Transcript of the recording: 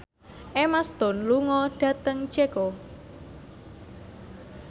Emma Stone lunga dhateng Ceko